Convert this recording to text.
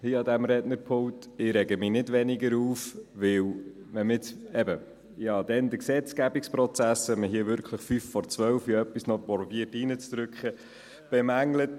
Ich rege mich jetzt nicht weniger auf, denn: Ich habe vorhin den Gesetzgebungsprozess – wenn man hier um fünf vor zwölf noch etwas hineinzudrücken versucht – bemängelt.